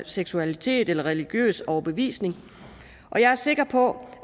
seksualitet eller religiøs overbevisning og jeg er sikker på